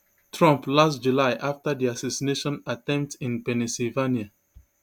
trump last july afta di assassination attempt in pennsylvania